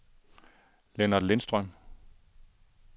Lennart Lindstrøm